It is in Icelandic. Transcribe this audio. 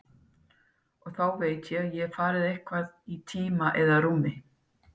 Og þá veit ég að ég hef farið eitthvað í tíma eða rúmi.